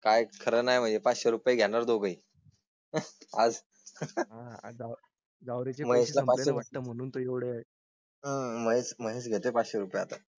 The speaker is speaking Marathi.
काय खरं नाही म्हणजे पाचशे घेणार दोघेही. आज आहे जावळी ची माहिती तुम्हाला वाटतं म्हणून तेवढे महेश घेतेय पाचशे रुपये आता